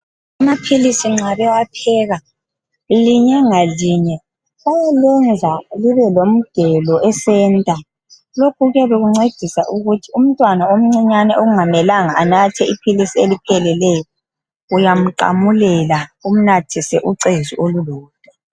Amaphilisi nxa bewapheka, linye ngalinye bayalenza libelomgelo e"center".Lokhu kuyancedisa ukuthi umntwana omncinyane ongamelanga anathe iphilisi elipheleleyo uyamqamulela umnathise ucezu olulodwa.